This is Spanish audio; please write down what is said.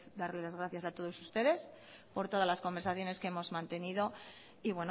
darles las gracias a todos ustedes por todas las conversaciones que hemos mantenido y